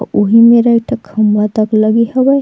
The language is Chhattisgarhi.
अउ उहि मेरा एक ठक खम्बा तक लगे हवय।